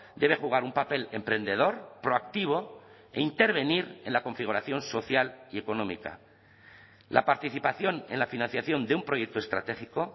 debe jugar un papel emprendedor proactivo e intervenir en la configuración social y económica la participación en la financiación de un proyecto estratégico